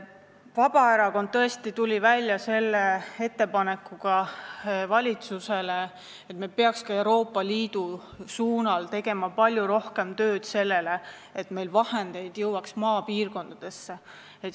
Vabaerakond on tulnud välja selle ettepanekuga valitsusele, et me peaks ka Euroopa Liidu suunal tegema palju rohkem tööd selleks, et rohkem vahendeid jõuaks maapiirkonda.